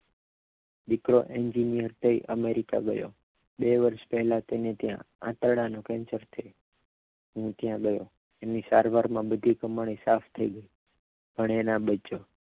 દીકરો એન્જીનીયર થઇ અને અમેરિકા ગયો બે વર્ષ પહેલા તેને ત્યાં આંતરડાનું કેન્સર થયું હું ત્યાં ગયો એની સારવારમાં બધી કમાણી સાફ થઇ પણ એ ના બચયો